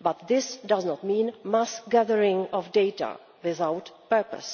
but this does not mean mass gathering of data without purpose.